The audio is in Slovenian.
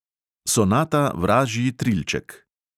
Sonata vražji trilček.